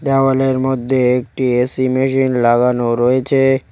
দেওয়ালের মধ্যে একটি এ_সি মেশিন লাগানো রয়েছে।